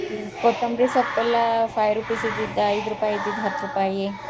ಕೊತ್ತಂಬ್ರಿ ಸೊಪ್ಪೆಲ್ಲಾ five rupees ಇದ್ದಿದ್ ಐದ್ ರೂಪಾಯಿ ಇದ್ದಿದ್ ಹತ್ತ್ ರೂಪಾಯಿ.